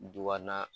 Du kɔnɔna